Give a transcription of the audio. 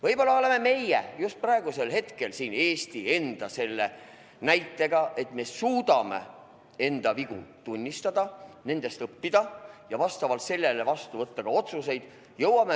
Võib-olla on just praegusel hetkel Eesti hea näide, et me suudame enda vigu tunnistada, nendest õppida ja vastavalt sellele vastu võtta häid otsuseid.